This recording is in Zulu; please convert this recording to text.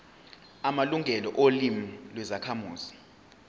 amalungelo olimi lwezakhamuzi